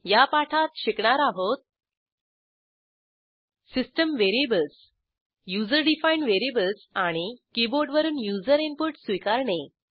या पाठात शिकणार आहोत system variables user defined variables आणि कीबोर्डवरून युजर इनपुट स्वीकारणे